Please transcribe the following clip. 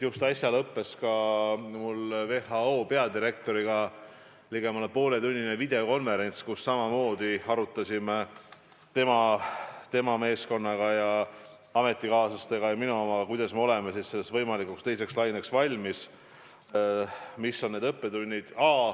Just äsja lõppes ka mul WHO peadirektoriga ligemale pooletunnine videokonverents, kus me arutasime ametikaaslastega ning tema ja minu meeskonnaga, kuidas me oleme võimalikuks teiseks laineks valmis, mis on need õppetunnid.